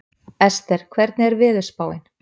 Ester, hvernig er veðurspáin?